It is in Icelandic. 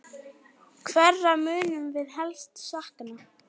Hverra munum við helst sakna?